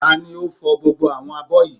Tani ò fò gbogbo àwọn abọ́ yìí?